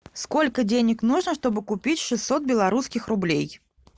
сколько денег нужно чтобы купить шестьсот белорусских рублей